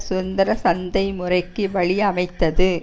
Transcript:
சுதந்திர சந்தை முறைக்கு வழி அமைத்தது